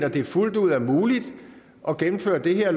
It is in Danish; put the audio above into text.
at det fuldt ud er muligt at gennemføre det her